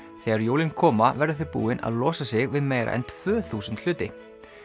þegar jólin koma verða þau búin að losa sig við meira en tvö þúsund hluti